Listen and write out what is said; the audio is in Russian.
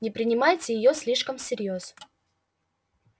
не принимайте её слишком всерьёз